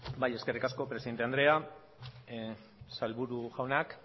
bai eskerrik asko presidente andrea sailburu jaunak